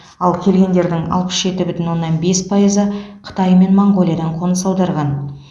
ал келгендердің алпыс жеті бүтін оннан бес пайызы қытай мен моңғолиядан қоныс аударған